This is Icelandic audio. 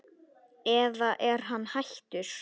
eða er hann hættur?